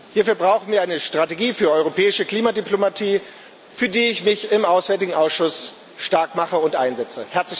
Hierfür brauchen wir eine Strategie für europäische Klimadiplomatie, für die ich mich im AFET Ausschuss starkmache und einsetze.